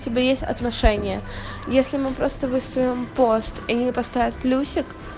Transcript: у тебя есть отношения если мы просто выставила пост и люди поставят плюсик